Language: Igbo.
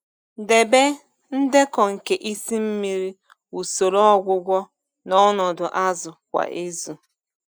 Debe ndekọ nke isi mmiri, usoro ọgwụgwọ na ọnọdụ azụ kwa izu.